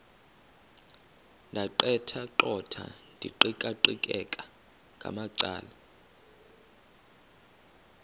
ndaqetheqotha ndiqikaqikeka ngamacala